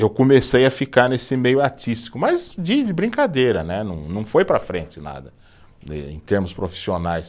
Eu comecei a ficar nesse meio artístico, mas de de brincadeira né, não não foi para frente nada, em termos profissionais.